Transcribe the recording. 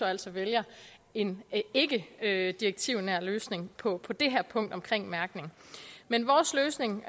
altså vælger en ikkedirektivnær løsning på på det her punkt omkring mærkning men vores løsning